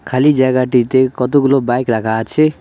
খালি জায়গাটিতে কতগুলো বাইক রাখা আছে।